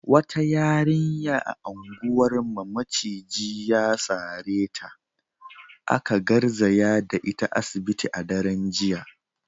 Wata yarinya a unguwarmu maciji ya sare ta, aka garzaya da ita asibiti a daren jiya.